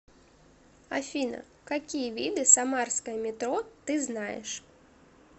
афина какие виды самарское метро ты знаешь